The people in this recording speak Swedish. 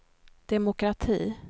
demokrati